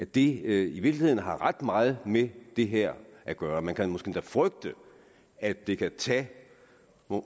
det i virkeligheden har ret meget med det her at gøre man kan måske endda frygte at det kan tage